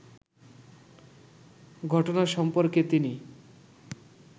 ঘটনা সম্পর্কে তিনি